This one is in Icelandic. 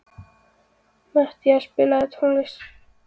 Matthea, spilaðu tónlist.